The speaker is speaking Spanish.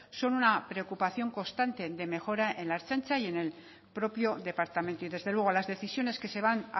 son una preocupación constante de mejora en la ertzaintza y en el propio departamento y desde luego las decisiones que se van